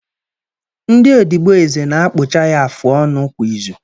Ndị odibo eze na-akpụcha ya afụ ọnụ kwa izu